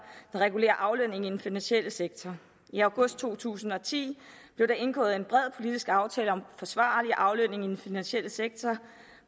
der regulerer aflønning i den finansielle sektor i august to tusind og ti blev der indgået en bred politisk aftale om forsvarlig aflønning i den finansielle sektor